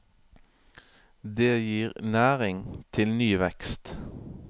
Det gir næring til ny vekst.